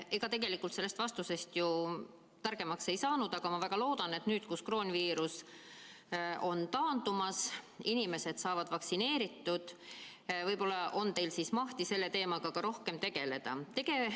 Ega tegelikult sellest vastusest ju targemaks ei saanud, aga ma väga loodan, et nüüd, kus kroonviirus on taandumas, inimesed saavad vaktsineeritud, on teil võib-olla mahti selle teemaga rohkem tegeleda.